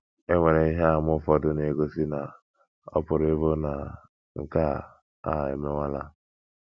E nwere ihe àmà ụfọdụ na - egosi na ọ pụrụ ịbụ na nke a a emewala.